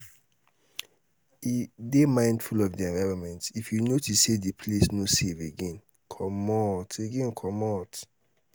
dey mindful of di environment if you notice sey di place no safe again comot again comot